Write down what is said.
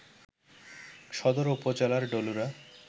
সদর উপজেলার ডলুরা